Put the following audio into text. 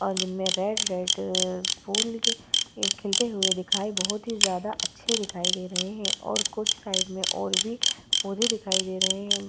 अ-दिन में red -red फूल गी न्-खिलते हुए दिखाई बहोत ही जादा अच्छे दिखाई दे रहे हैं और कुछ साइड में और भी पौधे दिखाई दे रहे हैं।